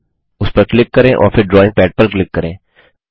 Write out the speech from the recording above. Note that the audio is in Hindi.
उस पर क्लिक करें और फिर ड्रॉइंग पैड पर क्लिक करें